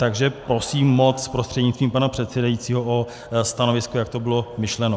Takže prosím moc prostřednictvím pana předsedajícího o stanovisko, jak to bylo myšleno.